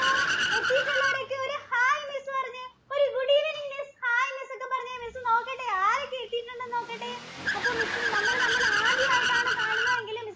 എത്തീട്ടുള്ളവരൊക്കെ ഒരു hi miss പറഞ്ഞെ. ഒരു good evening Miss hi Miss ഒക്കെ പറഞ്ഞേ. Miss നോക്കട്ടെ? ആരൊക്കെ എത്തീട്ടുണ്ടെന്ന് നോക്കട്ടേ? അപ്പോ Miss നമ്മള് തമ്മില്‍ ആദ്യമായിട്ടാണ് കാണുന്നതെങ്കിൽ Miss ഇന്‍റെ class ഇല്